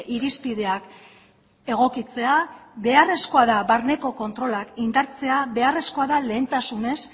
irizpideak egokitzea beharrezkoa da barneko kontrolak indartzea beharrezkoa da lehentasunez